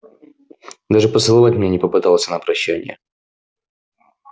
даже поцеловать меня не попытался на прощанье